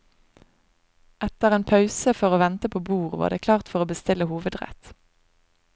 Etter en pause for å vente på bord var det klart for å bestille hovedrett.